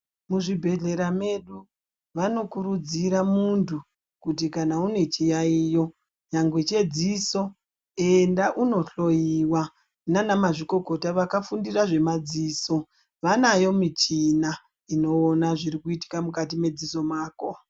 Muzvibhehlera medu vanokurudzira muntu kuti kana une chiyayiyo nyangwe chedziso enda unohloyiwa nanamazvikokota vakafundira zvemadziso vanayo michina inoona zvirikuitika mukati medziso mako.